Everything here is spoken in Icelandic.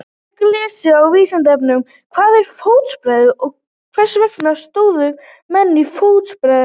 Frekara lesefni á Vísindavefnum: Hvað er fóstbræðralag og hvers vegna sórust menn í fóstbræðralag?